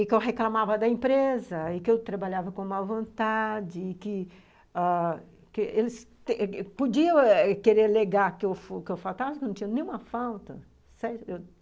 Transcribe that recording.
e que eu reclamava da empresa, e que eu trabalhava com mal vontade, e que ãh que eles podiam querer alegar que eu faltasse, mas eu não tive nenhuma falta